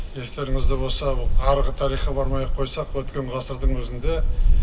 естеріңізде болса ол арғы тарихқа бармай ақ қойсақ өткен ғасырдың өзінде